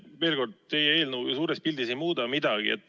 Veel kord, teie eelnõu ju suures pildis midagi ei muuda.